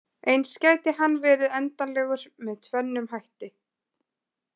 Eins gæti hann verið endanlegur með tvennum hætti.